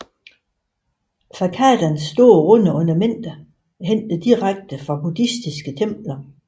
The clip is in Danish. Façadens store runde ornamenter er hentet direkte fra buddhistiske templer